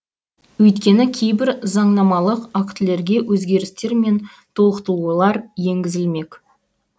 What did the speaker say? өйткені кейбір заңнамалық актілерге өзгерістер мен толықтулылар енгізілмек